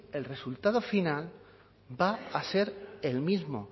el resultado final va a ser el mismo